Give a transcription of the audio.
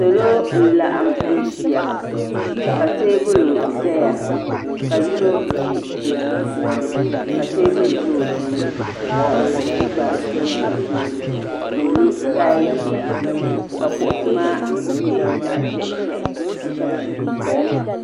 Salo n laɣim ʒiya ka teebuli zaya ka yino ʒi bi sunsuuni ka teebuli ʒɛ o tooni ka kompiwta tam o tooni ka o lo taayi ʒee ka kuɣusi maa nyɛ zaɣa ʒiɛhi ʒiɛhi ka shɛba ʒi di zuɣu.